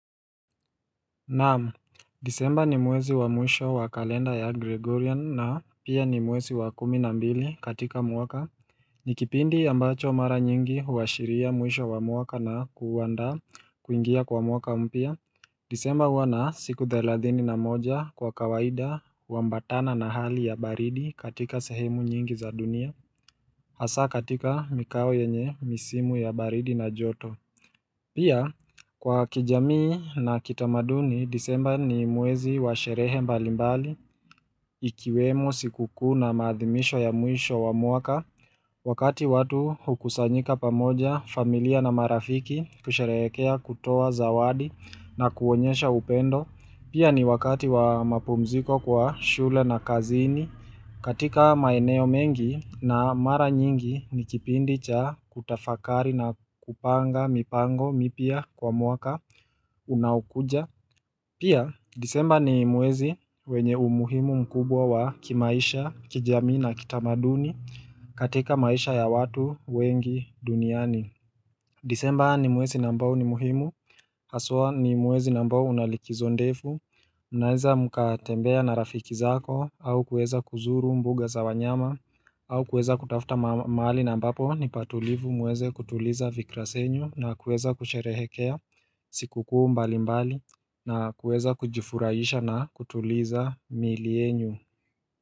Naam, disemba ni mwezi wa mwisho wa kalenda ya Gregorian na pia ni mwezi wa kumi na mbili katika mwaka. Ni kipindi ambacho mara nyingi huashiria mwisho wa mwaka na kuandaa kuingia kwa mwaka mpya. Disemba huwa na siku thelathini na moja kwa kawaida huambatana na hali ya baridi katika sehemu nyingi za dunia. Hasa katika mikao yenye misimu ya baridi na joto. Pia, kwa kijamii na kitamaduni, disemba ni mwezi wa sherehe mbalimbali, ikiwemo siku kuu na maadhimisho ya mwisho wa mwaka, wakati watu hukusanyika pamoja familia na marafiki kusherehekea kutoa zawadi na kuonyesha upendo. Pia ni wakati wa mapumziko kwa shule na kazini katika maeneo mengi na mara nyingi ni kipindi cha kutafakari na kupanga mipango mipya kwa mwaka unaokuja. Pia disemba ni mwezi wenye umuhimu mkubwa wa kimaisha, kijamii na kitamaduni katika maisha ya watu wengi duniani. Disemba ni mwezi na ambao ni muhimu Haswa ni mwezi na ambao una likizo ndefu Unaeza mkatembea na rafiki zako au kuweza kuzuru mbuga za wanyama au kueza kutafuta mahali na ambapo nipa tulivu muweze kutuliza vikra senyu na kueza kusherehekea siku kuu mbali mbali na kueza kujifuraisha na kutuliza miili yenyu.